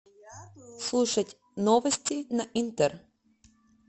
слушать новости на интер